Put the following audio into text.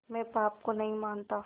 मैं पाप को नहीं मानता